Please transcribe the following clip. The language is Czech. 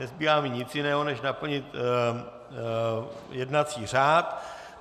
Nezbývá mi nic jiného než naplnit jednací řád.